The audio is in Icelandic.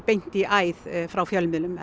beint í æð frá fjölmiðlum